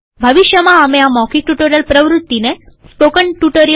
ભવિષ્યમાં અમે આ મૌખિક ટ્યુ્ટોરીઅલ પ્રવૃત્તિને સ્પોકન ટ્યુટોરિયલ